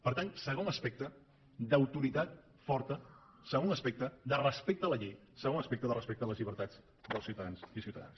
per tant segon aspecte d’autoritat forta segon aspecte de respecte a la llei segon aspecte de respecte a les llibertats dels ciutadans i ciutadanes